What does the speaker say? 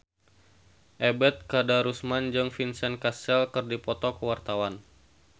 Ebet Kadarusman jeung Vincent Cassel keur dipoto ku wartawan